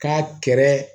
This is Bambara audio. K'a kɛrɛ